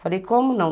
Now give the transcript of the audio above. Falei, como não?